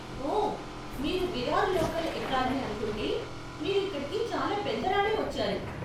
ఓ, మీరు విరార్ లోకల్ ఎక్కాలని అనుకుంటే, మీరు ఇక్కడికి చాలా పెందరాళే వచ్చారు.